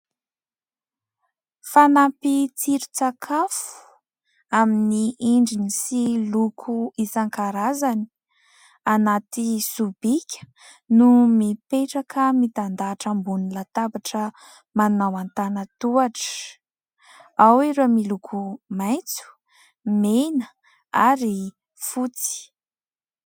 Fanampin-tsiron-tsakafo amin'ny endriny sy loko isan-karazany anaty sobika no mipetraka mitandahatra ambony latabatra, manao antanan-tohatra. Ao ireo miloko maitso, mena ary fotsy.